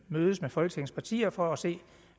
mødes med folketingets partier for at se